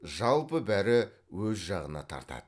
жалпы бәрі өз жағына тартады